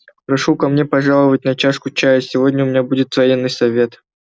прошу ко мне пожаловать на чашку чаю сегодня у меня будет военный совет